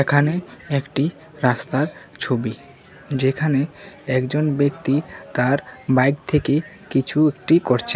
এখানে একটি রাস্তার ছবি যেখানে একজন ব্যক্তি তার বাইক থেকে কিছু একটি করছেন।